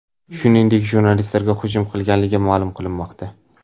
Shuningdek, jurnalistlarga hujum qilinganligi ma’lum qilinmoqda.